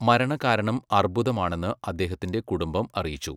മരണകാരണം അർബുദമാണെന്ന് അദ്ദേഹത്തിന്റെ കുടുംബം അറിയിച്ചു.